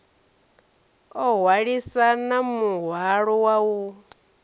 o hwalisana muhwalo wa u